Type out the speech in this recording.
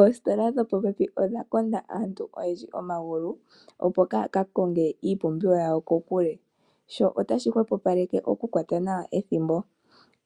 Oositola odha konda aantu oyendji omagulu, opo kaaya ka konge iipumbiwa yawo kokule. Sho otashi hwepopaleke okukwata nawa ethimbo.